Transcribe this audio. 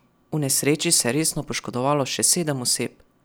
V nesreči se je resno poškodovalo še sedem oseb.